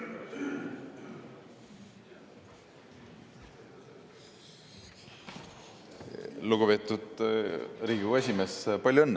Lugupeetud Riigikogu esimees, palju õnne kõigepealt!